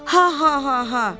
Ha ha ha ha!